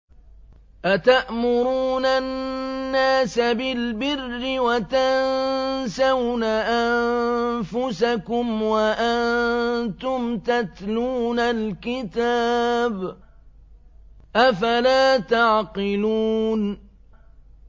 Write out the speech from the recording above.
۞ أَتَأْمُرُونَ النَّاسَ بِالْبِرِّ وَتَنسَوْنَ أَنفُسَكُمْ وَأَنتُمْ تَتْلُونَ الْكِتَابَ ۚ أَفَلَا تَعْقِلُونَ